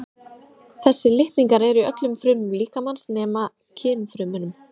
Þessir litningar eru í öllum frumum líkamans nema kynfrumunum.